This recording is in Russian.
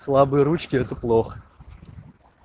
слабые ручки это плохо